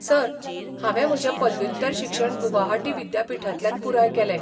Sir, हांवें म्हजें पदव्युत्तर शिक्षण गुवाहाटी विद्यापीठांतल्यान पुराय केलें.